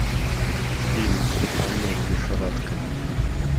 фильм тюльпанная лихорадка